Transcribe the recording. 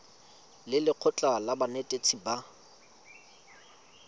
le lekgotlha la banetetshi ba